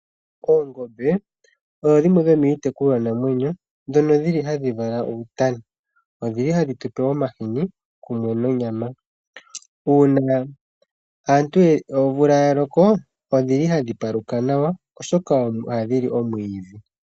Oongombe odho dhimwe dhomiitekulwa namwenyo ndhono dhili hadhi vala uutana, odhili hadhi tu pe omahini kumwe nonyama, uuna aantu omvula ya loko odhili hadhi paluka nawa oshoka ohadhi li omwiidhi.